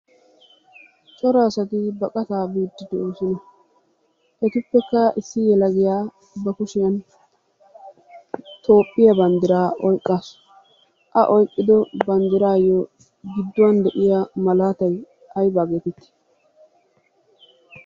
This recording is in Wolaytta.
Cora asati baqataa biiddi de'oosona. Etappekka issi yelagiya ba kushiyan toophiya banddiraa oyqqaasu.A oyqqido banddiraayyo gidduwan de'iya malaatayi aybaa geetettii?